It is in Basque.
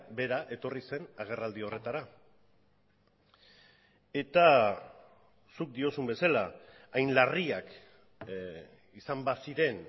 bera etorri zen agerraldi horretara eta zuk diozun bezala hain larriak izan baziren